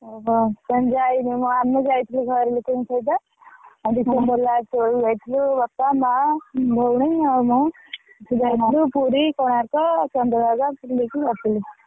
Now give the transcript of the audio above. ଓହୋ, ତମେ ଜାଇନନା ଆମେ ଯାଇଥିଲୁ ଘର ଲୋକଙ୍କ ସହିତ ଆମେତ ହେଲା ହଁ, ଦେଇ ଅଛି, ବାପା, ମାଆ, ବୋଉ ଆଉ ମୁଁ ସବୁ ପୁରୀ କୋଣାର୍କ, ଚନ୍ଦ୍ରଭାଗା ସବୁ ଦେଖିକି ଆସିଲୁ।